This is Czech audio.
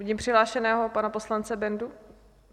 Vidím přihlášeného pana poslance Bendu?